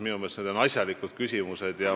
Minu meelest on need asjalikud küsimused.